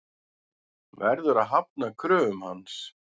Verður að hafna kröfum hans.